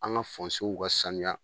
An ka ka sanuya.